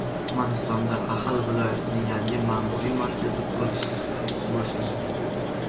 Turkmanistonda Axal viloyatining yangi ma’muriy markazi qurilishi boshlandi.